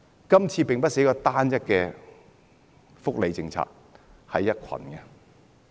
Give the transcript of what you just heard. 這次並非單一的福利政策，而是一堆。